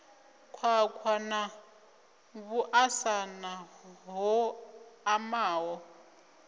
khwakhwa na vhuṱasana ho omaho